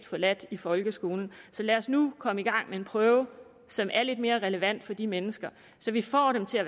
forladt i folkeskolen så lad os nu komme i gang med en prøve som er lidt mere relevant for de mennesker så vi får dem til at